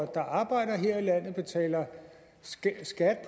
der arbejder og betaler skat